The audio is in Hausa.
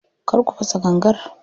Kar ku fasa gangar.